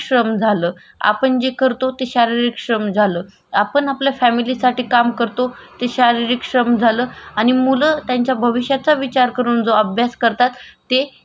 आणि मूल त्याचा भविष्याचा विचार करून जो अभ्यास करतात. ते त्याच झालं बौद्धिक श्रम असे श्रमाचे वेगवेगडे प्रकार आहेत. आपण त्या मध्ये पहिलं शारीरिक श्रम